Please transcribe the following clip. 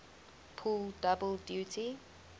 pull double duty